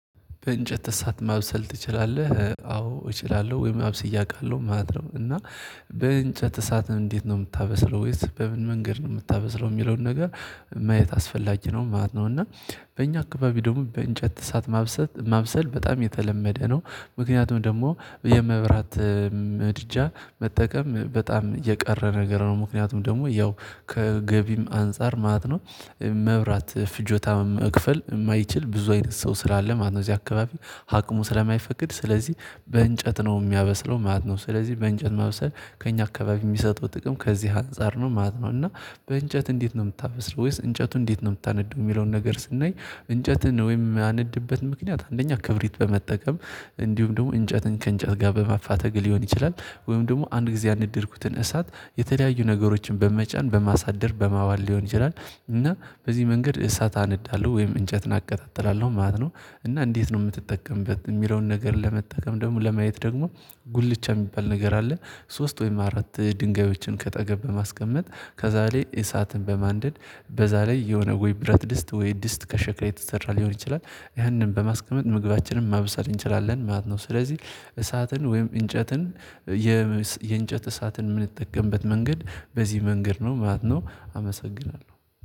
በእንጨት እሳት ማብሰል ትችላለህ አዎ እችላለሁ ወይም አብስዬ አውቃለሁ ማለት ነው። እና በእንጨት እሳትም እንዴት ነው የምታበስለው ወይስ በምን መንገድ ነው የምታበስለው የሚለውን ነገር ማየት አስፈላጊ ነው ማለት ነው። እና በእኛ አካባቢ ደግሞ በእንጨት እሳት ማብሰል ማብሰል በጣም የተለመደ ነው። ምክንያቱም ደግሞ የመብራት ምድጃ መጠቀም በጣም የቀረ ነገር ነው ምክንያቱም ደግሞ ያው ከገቢም አንፃር ማለት ነው። መብራት ፍጆታ መክፈል የማይችል ብዙ አይነት ሰው ስላለ ማለት ነው። እዚህ አካባቢ ሀቅሙ ስለማይፈቅድ ስለዚህ በእንጨት ነው የሚያበስለው ማለት ነው። ስለዚህ በእንጨት ማብሰል ከእኛ አካባቢ የሚሰጠው ጥቅም ከዚህ አንፃር ነው ማለት ነው። እና በእንጨት እንዴት ነው የምታበስለው ወይስ እንጨቱን እንዴት ነው የምታነድደው የሚለውን ነገር ስናይ እንጨትን ወይም የማነድበት ምክንያት አንደኛ ክብሪት በመጠቀም እንዲሁም ደግሞ እንጨትን ከእንጨት ጋር በማፋተግ ሊሆን ይችላል። ወይም ደግሞ አንድ ጊዜ ያነደድኩትን እሳት የተለያዩ ነገሮችን በመጫን በማሳደር በማዋል ሊሆን ይችላል። እና በዚህ መንገድ እሳት አነዳለሁ ወይም እንጨት አቀጣጥላለሁ ማለት ነው። እና እንዴት ነው የምትጠቀምበት የሚለውን ነገር ለመጠቀም ደግሞ ለማየት ደግሞ ጉልቻ የሚባል ነገር አለ። ሶስት ወይም አራት ድንጋዮችን ከአጠገብ በማስቀመጥ ከዛ ላይ እሳትን በማንደድ በዛ ላይ የሆነ ወይ ብረት ድስት ወይ ድስት ከሸክላ የተሰራ ሊሆን ይችላል። ይህንን በማስቀመጥ ምግባችንን ማብሰል እንችላለን ማለት ነው። ስለዚህ እሳትን ወይም እንጨትን የእንጨት እሳትን የምንጠቀምበት መንገድ በዚህ መንገድ ነው ማለት ነው። አመሰግናለሁ